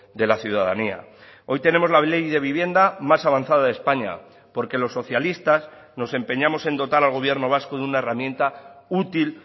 de la ciudadanía hoy tenemos la ley de vivienda más avanzada de españa porque los socialistas nos empeñamos en dotar al gobierno vasco de una herramienta útil